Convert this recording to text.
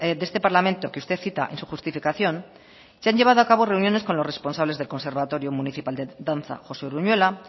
de este parlamento que usted cita en su justificación se han llevado a cabo reuniones con los responsables del conservatorio municipal de danza josé uruñuela